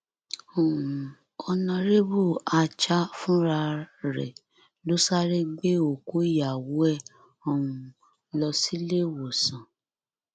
um ọnàrẹbù ácha fúnra rẹ ló sáré gbé òkú ìyàwó ẹ um lọ síléèwòsàn